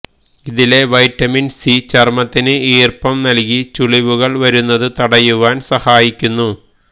ഇതിലെ vitamin C ചര്മത്തിന് ഈര്പ്പം നല്കി ചുളിവുകള് വരുന്നതു തടയുവാന് സഹായിക്കുന്നു